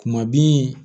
Kuma bin